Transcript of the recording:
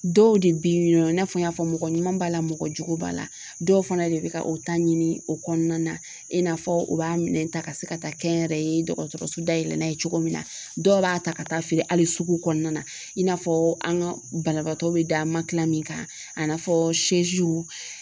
Dɔw de bɛ yen nɔ i n'a fɔ n y'a fɔ mɔgɔ ɲuman b'a la mɔgɔ jugu b'a la dɔw fana de bɛ ka o ta ɲini o kɔnɔna na i n'a fɔ u b'a minɛn ta ka se ka taa kɛ n yɛrɛ ye dɔgɔtɔrɔso dayɛlɛ cogo min na dɔw b'a ta ka taa feere hali sugu kɔnɔna na i n'a fɔ an ka banabaatɔ bɛ da min kan a n'a fɔ